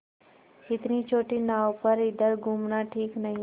इतनी छोटी नाव पर इधर घूमना ठीक नहीं